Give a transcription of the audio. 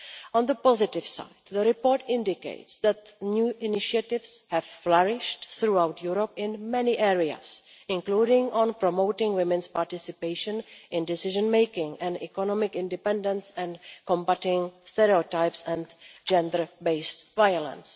On the positive side, the report indicates that new initiatives have flourished throughout Europe in many areas, including promoting women's participation in decision making and economic independence and combating stereotypes and gender based violence.